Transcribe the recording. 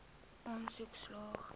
aansoek slaag